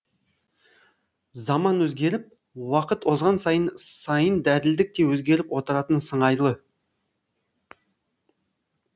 заман өзгеріп уақыт озған сайын сайын әділдік те өзгеріп отыратын сыңайлы